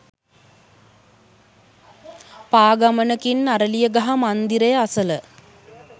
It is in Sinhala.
පා ගමනකින් අරලියගහ මන්දරය අසල